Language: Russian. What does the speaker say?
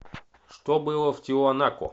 что было в тиуанако